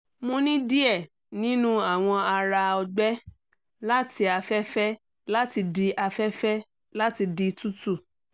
mo ni diẹ ninu awọn ara ọgbẹ lati afẹfẹ lati di afẹfẹ lati di tutu